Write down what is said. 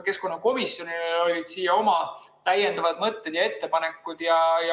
Keskkonnakomisjonil olid oma täiendavad mõtted ja ettepanekud.